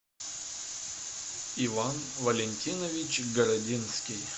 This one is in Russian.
иван валентинович городинский